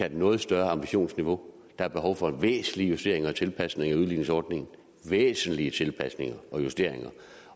et noget større ambitionsniveau der er behov for væsentlige justeringer og tilpasninger af udligningsordningen væsentlige tilpasninger og justeringer